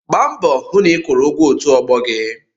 Gbaa mbọ hụ na ị kwụrụ ụgwọ òtù ọgbọ gị!